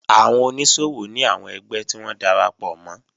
Àwọn oníṣòwò ní àwọn ẹgbẹ́ tí wọ́n darapọ̀ mọ́